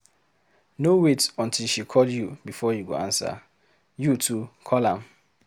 No wait until she call you before you go answer, you too call am.